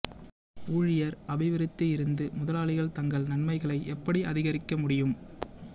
ஊழியர் அபிவிருத்தி இருந்து முதலாளிகள் தங்கள் நன்மைகளை எப்படி அதிகரிக்க முடியும்